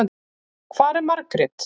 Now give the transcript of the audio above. Hvar er Margrét?